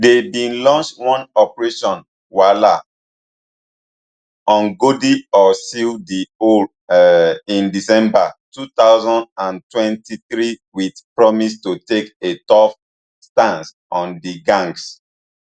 dey bin launch one operation vala umgodi or seal di hole um in december two thousand and twenty-three wit promise to take a tough stance on di gangs